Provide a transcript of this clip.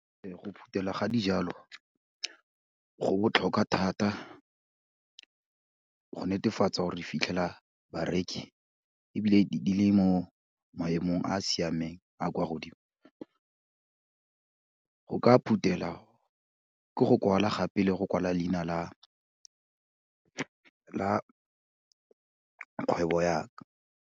Go phuthela ga dijalo go botlhokwa thata, go netefatsa gore di fitlhela bareki ebile di le mo maemong a siameng, a kwa godimo, go ka phuthela ke go kwala gape le go kwala leina la kgwebo ya ka.